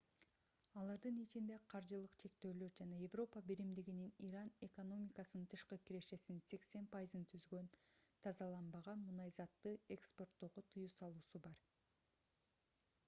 алардын ичинде каржылык чектөөлөр жана европа биримдигинин иран экономикасынын тышкы кирешесинин 80% түзгөн тазаланбаган мунайзатты экспорттоого тыюу салуусу бар